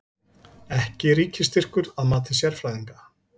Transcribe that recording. Ekki ríkisstyrkur að mati sérfræðinga